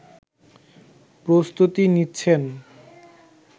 প্রস্তুতি নিচ্ছেন